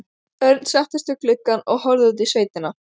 Örn settist við gluggann og horfði út í sveitina.